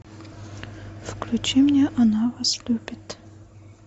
включи мне она вас любит